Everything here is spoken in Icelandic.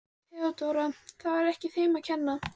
THEODÓRA: Það var ekki þeim að kenna.